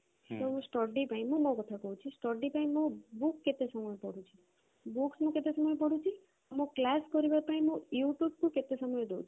study ପାଇଁ ମୁଁ ମୋ କଥା କହୁଛି book କେତେ ସମୟ ପଢୁଛି books ମୁଁ କେତେ ସମୟ ପଢୁଛି ଆଉ class କରିବା ପାଇଁ ମୁଁ youtube କୁ କେତେ ସମୟ ଦଉଛି